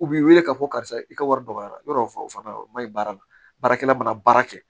U b'i wele k'a fɔ karisa i ka wari dɔgɔya yɔrɔ o fana o ma ɲi baara la baarakɛla mana baara kɛ